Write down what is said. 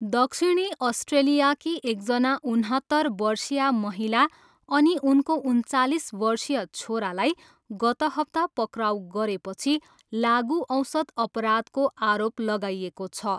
दक्षिणी अस्ट्रेलियाकी एकजना उनहत्तर वर्षीया महिला अनि उनको उन्चालिस वर्षीय छोरालाई गत हप्ता पक्राउ गरेपछि लागुऔषध अपराधको आरोप लगाइएको छ।